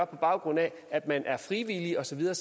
på baggrund af at man er frivillig og så videre